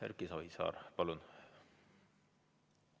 Erki Savisaar, palun!